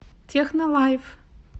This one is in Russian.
технолайф